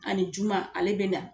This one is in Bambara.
Ani juma ale bɛ na.